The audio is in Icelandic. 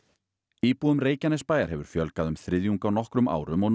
íbúum Reykjanesbæjar hefur fjölgað um þriðjung á nokkrum árum og nú